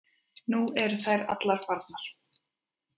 Nú eru þær allar farnar.